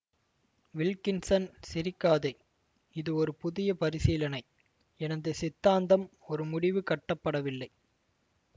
Wilkinson சிரிக்காதே இது ஒரு புதிய பரிசீலனை எனது சித்தாந்தம் ஒரு முடிவு கட்ட படவில்லை